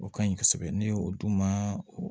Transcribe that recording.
O ka ɲi kosɛbɛ ne ye o d'u ma